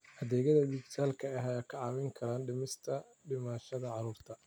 Adeegyada dijitaalka ah ayaa kaa caawin kara dhimista dhimashada carruurta.